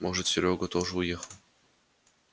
может серёга тоже уехал